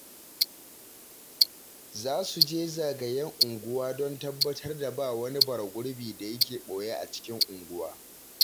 Za su je zagayen unguwa don tabbatar da ba wani bara-gurbi da yake ɓoye a cikin unguwa